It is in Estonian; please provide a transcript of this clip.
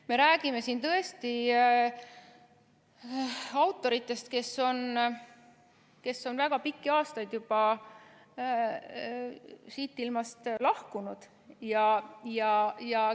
Me räägime siin tõesti autoritest, kes on juba väga pikki aastaid tagasi siit ilmast lahkunud.